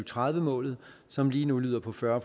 tredive målet som lige nu lyder på fyrre